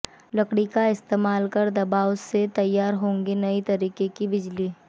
लकड़ी का इस्तेमाल कर दबाव से तैयार होगी नई तरीके की बिजली